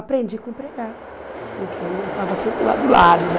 Aprendi com empregada, com quem eu estava sempre lá do lado, né?